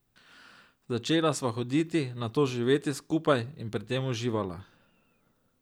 Začela sva hoditi, nato živeti skupaj, in pri tem uživala.